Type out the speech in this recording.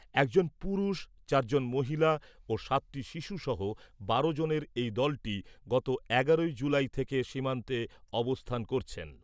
একজন পুরুষ , চারজন মহিলা ও সাতটি শিশুসহ বারো জনের এই দলটি গত এগারোই জুলাই থেকে সীমান্তে অবস্থান করছেন।